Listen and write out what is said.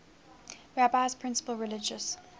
rabbi's principal religious